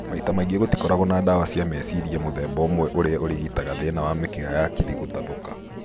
Maita maingĩ gũtikoragwo na ndawa cia meciria mũthemba ũmwe ũrĩa ũrigitaga thĩna wa mĩkiha ya hakiri gũtathũka